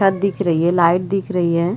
छत्त दिख रही है लाइट दिख रही है।